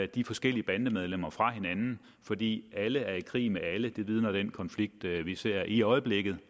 de forskellige bandemedlemmer fra hinanden fordi alle er i krig med alle det vidner den konflikt vi vi ser i øjeblikket